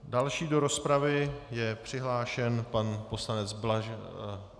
Další do rozpravy je přihlášen pan poslanec Blažek.